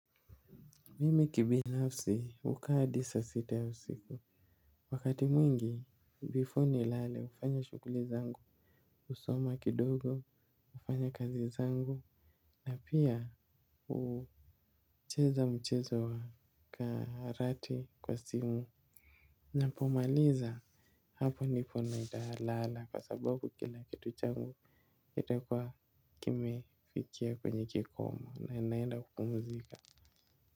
Mimi kibinafsi hukaa hadi saa sita ya usiku wakati mwingi before ni lale ufanya shughuli zangu husoma kidogo kufanya kazi zangu. Na pia hucheza mchezo wa karate kwa simu. Napomaliza hapo nipo nitalala kwa sababu kila kitu changu itakuwa kimefikia kwenye kikomo na inaenda kupumzika.